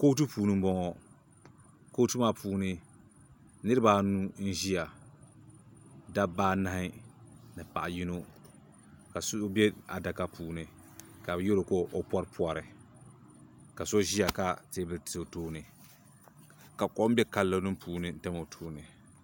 Kootu puuni m boŋɔ kootu maa puuni niriba anu n ʒia dabba anahi ni paɣa yino ka so be adaka puuni ka bɛ yeri o ka o poripori ka so ʒia ka teebuli ti o tooni ka kom be kalo nima puuni tam o tooni.